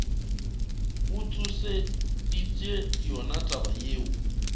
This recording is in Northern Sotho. go tsošeditše yona taba yeo